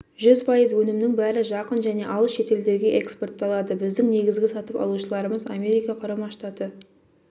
жүз пайыз өнімнің бәрі жақын және алыс шетелдерге экспортталады біздің негізгі сатып алушыларымыз америка құрама штаты